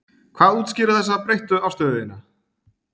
Hvað útskýrir þessa breyttu afstöðu þína?